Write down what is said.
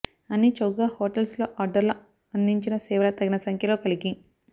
అన్ని చౌకగా హోటల్స్ లో ఆడ్లర్ అందించిన సేవల తగిన సంఖ్యలో కలిగి